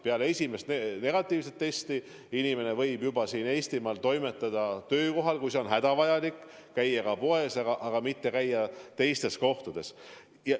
Peale esimest negatiivset testi inimene võib juba siin Eestimaal toimetada töökohal, kui see on hädavajalik, käia ka poes, aga mitte käia teistes kohtades.